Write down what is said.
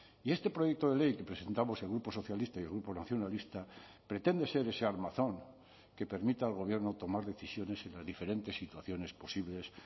y este proyecto de ley que presentamos el grupo socialista y el grupo nacionalista pretende ser ese armazón que permita al gobierno tomar decisiones en las diferentes situaciones posibles